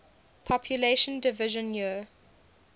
population division year